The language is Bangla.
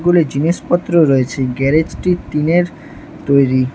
জিনিসপত্র রয়েছে গ্যারেজটি টিনের তৈরি।